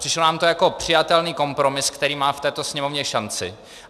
Přišlo nám to jako přijatelný kompromis, který má v této Sněmovně šanci.